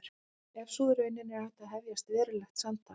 Ef sú er raunin er hægt að hefja raunverulegt samtal.